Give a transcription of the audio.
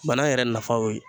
Banan yɛrɛ nafa ye o ye